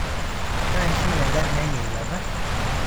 Keishunye ngariai lata